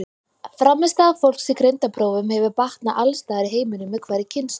Frammistaða fólks í greindarprófum hefur batnað alls staðar í heiminum með hverri kynslóð.